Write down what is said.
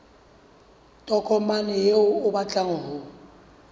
tokomane eo o batlang ho